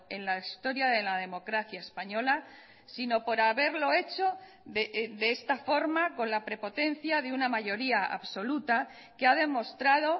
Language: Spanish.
en la historia de la democracia española sino por haberlo hecho de esta forma con la prepotencia de una mayoría absoluta que ha demostrado